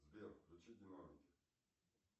сбер включи динамики